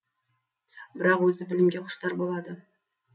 бірақ өзі білімге құштар болады